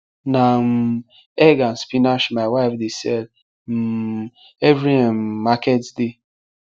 na um egg and spinach my wife dey sell um every um market day